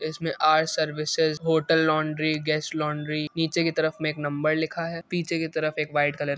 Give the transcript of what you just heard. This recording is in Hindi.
इसमें our services hotel laundry guest laundry नीचे की तरफ में एक नंबर लिखा है। पीछे की तरफ एक व्हाइट कलर --